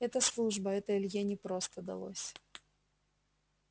это служба это илье непросто далось